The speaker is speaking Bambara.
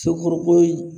Cɛkɔrɔbaw ye